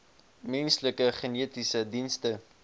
menslike genetiese dienste